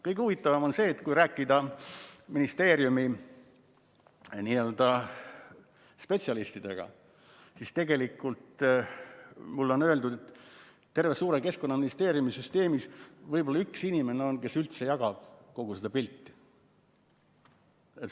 Kõige huvitavam on see, et olen rääkinud ministeeriumi spetsialistidega, kes on mulle öeldud, et terves suures Keskkonnaministeeriumi süsteemis on võib-olla üks inimene, kes üldse kogu seda pilti jagab.